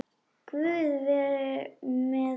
Guð veri með henni.